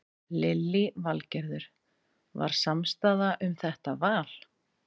Lillý Valgerður: Var samstaða um þetta val?